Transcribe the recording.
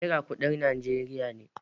Naira kudin Najeriya ne.